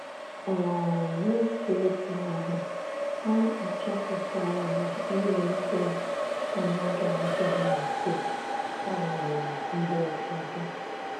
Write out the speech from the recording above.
um N’otu oge ahụ, ha achọpụtara na ịnwe mkpebi anaghị adị ha mfe um mgbe ụfọdụ.